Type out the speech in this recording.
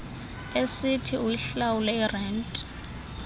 esithi uyihlawule irente